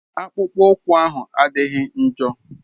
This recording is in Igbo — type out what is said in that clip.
Akpụkpọ ụkwụ ahụ adịghị njọ.